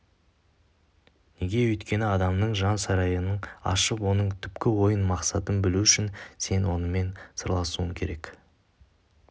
неге өйткені адамның жан сарайын ашып оның түпкі ойын мақсатын білу үшін сен онымен сырласуың керек